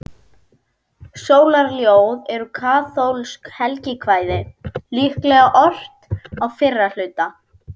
Sólarljóð eru kaþólskt helgikvæði, líklega ort á fyrra hluta